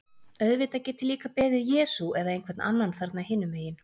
Auðvitað get ég líka beðið Jesú eða einhvern annan þarna hinum megin.